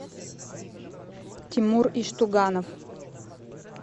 тимур иштуганов